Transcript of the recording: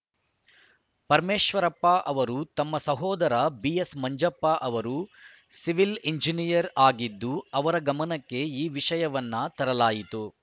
ಪರಮೇಶ್ವರಪ್ಪ ಅವರು ತಮ್ಮ ಸಹೋದರ ಬಿಎಸ್‌ ಮಂಜಪ್ಪ ಅವರು ಸಿವಿಲ್‌ ಎಂಜಿನಿಯನರ್‌ ಆಗಿದ್ದು ಅವರ ಗಮನಕ್ಕೆ ಈ ವಿಷಯವನ್ನು ತರಲಾಯಿತು